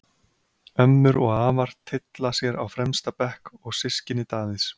Ömmur og afar tylla sér á fremsta bekk og systkini Davíðs.